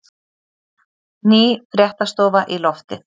Ný fréttastofa í loftið